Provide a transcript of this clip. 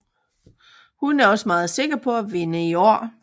Hun er også meget sikker på at vinde i år